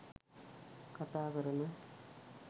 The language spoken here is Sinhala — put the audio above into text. කතා කරන